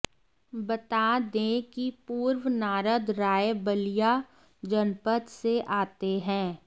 बता दें कि पूर्व नारद राय बलिया जनपद से आते है